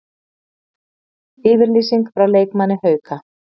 Yfirlýsing frá leikmanni Hauka